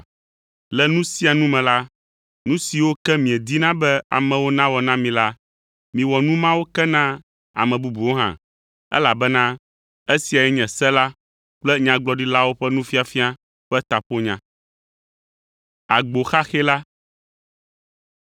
Le nu sia nu me la, nu siwo ke miedina be amewo nawɔ na mi la, miwɔ nu mawo ke na ame bubuwo hã, elabena esiae nye Se la kple Nyagblɔɖilawo ƒe nufiafia ƒe taƒonya.